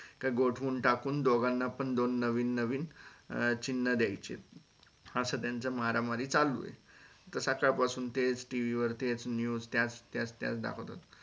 त्या गोठवून टाकून दोघांना पण दोन नवीन नवीन अं चिन्ह द्यायची असं त्याचं मारामारी चालु हे तर सकाळ पासून तेच TV वर तेच news त्याच त्याच त्या दाखवतात